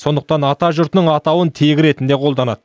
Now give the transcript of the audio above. сондықтан атажұртының атауын тегі ретінде қолданады